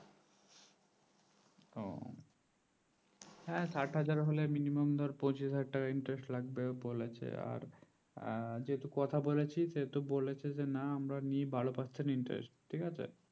হ্যাঁ সাত হাজার হলে minimum পচিশ হাজার interest লাগবে বলেছে আর যেটু কথা বলেছি সেতু বলেছে আমরা নিয়ে বারো percent interest ঠিকা আছে